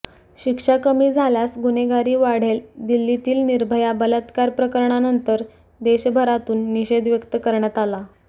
शिक्षा कमी झाल्यास गुन्हेगारी वाढेलदिल्लीतील निर्भया बलत्कार प्रकरणानंतर देशभरातून निषेध व्यक्त करण्यात आला